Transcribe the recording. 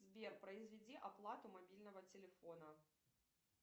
сбер произведи оплату мобильного телефона